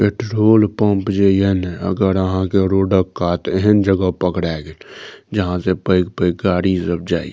petrol pump जे ये ने अगर अहां के रोडक कात एहन जगह पकड़े गेल जहां से पेएग-पेएग गाड़ी सब जाय ये --